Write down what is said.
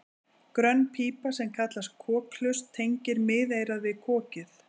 Grönn pípa sem kallast kokhlust tengir miðeyrað við kokið.